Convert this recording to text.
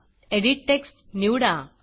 edit text edit text निवडा